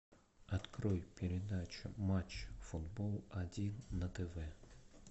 открой передачу матч футбол один на тв